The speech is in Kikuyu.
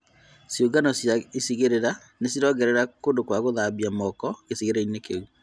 Ciũngano cia icigĩrĩra nĩcirongerera kũndũ gwa gũthambia moko gĩcigĩrĩra-inĩ kĩu